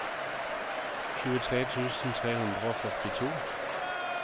tjuetre tusen tre hundre og førtito